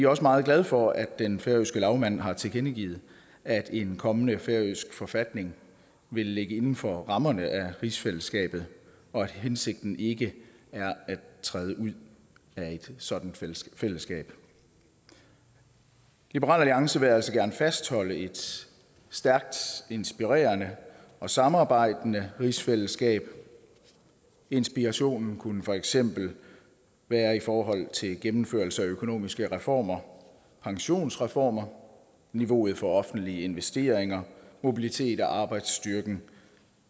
også meget glade for at den færøske lagmand har tilkendegivet at en kommende færøsk forfatning vil ligge inden for rammerne af rigsfællesskabet og at hensigten ikke er at træde ud af et sådant fællesskab liberal alliance vil altså gerne fastholde et stærkt inspirerende og samarbejdende rigsfællesskab inspirationen kunne for eksempel være i forhold til gennemførelse af økonomiske reformer pensionsreformer niveau for offentlige investeringer mobilitet af arbejdsstyrken